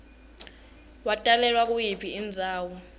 watalelwa kuyiphi indzawo